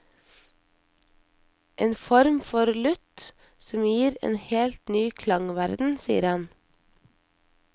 En form for lutt, som gir en helt ny klangverden, sier han.